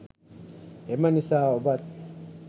එම නිසා ඔබත්